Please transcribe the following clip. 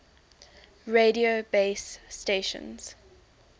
radio base stations